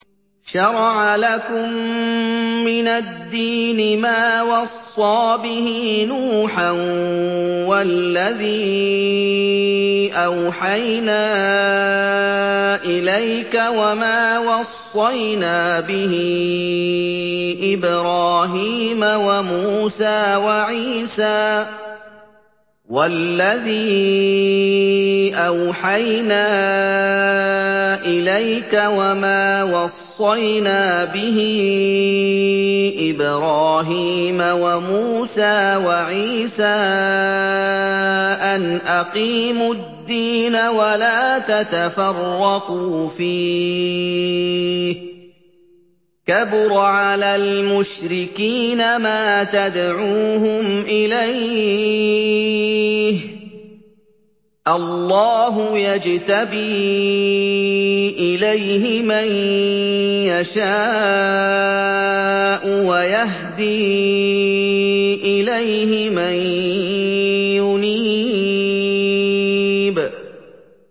۞ شَرَعَ لَكُم مِّنَ الدِّينِ مَا وَصَّىٰ بِهِ نُوحًا وَالَّذِي أَوْحَيْنَا إِلَيْكَ وَمَا وَصَّيْنَا بِهِ إِبْرَاهِيمَ وَمُوسَىٰ وَعِيسَىٰ ۖ أَنْ أَقِيمُوا الدِّينَ وَلَا تَتَفَرَّقُوا فِيهِ ۚ كَبُرَ عَلَى الْمُشْرِكِينَ مَا تَدْعُوهُمْ إِلَيْهِ ۚ اللَّهُ يَجْتَبِي إِلَيْهِ مَن يَشَاءُ وَيَهْدِي إِلَيْهِ مَن يُنِيبُ